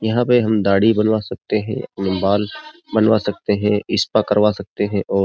यहाँ पे हम दाढ़ी बनवा सकते हैं अपने बाल बनवा सकते हैं स्पा करवा सकते हैं और --